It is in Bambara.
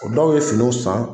O dɔw ye finiw san